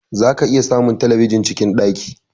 Za ka iya samun telebijin cikin ɗaki